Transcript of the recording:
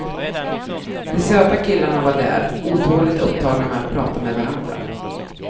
De söta killarna var där, otåligt upptagna med att prata med varandra.